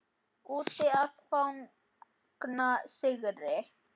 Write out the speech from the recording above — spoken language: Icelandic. Úti að fagna sigri.